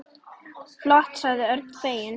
Flott sagði Örn feginn.